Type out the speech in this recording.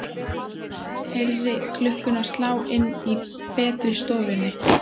Heyrði klukkuna slá inni í betri stofunni.